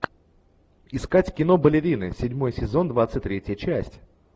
искать кино балерины седьмой сезон двадцать третья часть